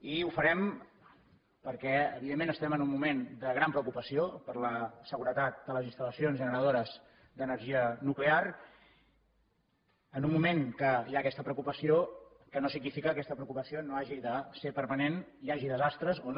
i ho farem perquè evidentment estem en un moment de gran preocupació per la seguretat de les instal·lacions generadores d’energia nuclear en un moment que hi ha aquesta preocupació que no significa que aquesta preocupació no hagi de ser permanent hi hagi desastres o no